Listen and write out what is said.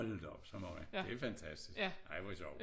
Hold da op så mange det fantastisk ej hvor sjov